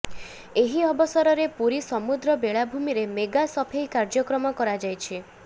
ଏହି ଅବସରରେ ପୁରୀ ସମୁଦ୍ର ବେଳାଭୂମିରେ ମେଗା ସଫେଇ କାର୍ଯ୍ୟକ୍ରମ କରାଯାଇଛି